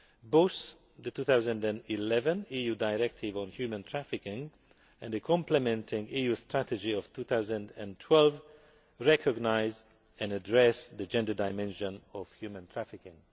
Both the 2011 EU directive on human trafficking and the complementing EU Strategy of 2012 recognise and address the gender dimension of human trafficking.